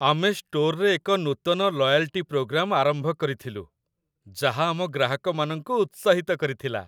ଆମେ ଷ୍ଟୋରରେ ଏକ ନୂତନ ଲୟାଲ୍ଟି ପ୍ରୋଗ୍ରାମ ଆରମ୍ଭ କରିଥିଲୁ, ଯାହା ଆମ ଗ୍ରାହକମାନଙ୍କୁ ଉତ୍ସାହିତ କରିଥିଲା।